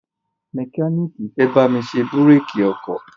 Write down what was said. mẹkíníìkì fẹ́ bámi ṣe búrékì ọkọ̀